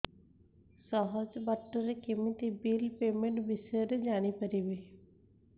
ସହଜ ବାଟ ରେ କେମିତି ବିଲ୍ ପେମେଣ୍ଟ ବିଷୟ ରେ ଜାଣି ପାରିବି